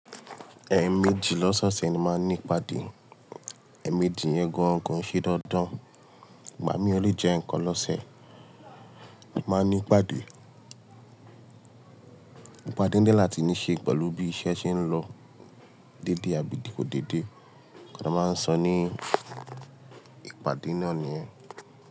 Ẹẹ̀mẹjì lọ́sọ̀ọ̀sẹ̀ ni máa ń ní ìpàdé. Ẹẹ̀mẹjì yẹn gàn kon ṣe dandan, ìgbà mí ò lè jẹ ǹkan lọ́sẹ̀. Máa ń ní ìpàdé. Ìpàdé ń dẹ́ láti ní í ṣe pẹ̀lú bí iṣẹ́ ṣe ń lọ dédé àbí kò dédé. Kíni a máa ń sọ ni ìpàdé náà nìyẹn.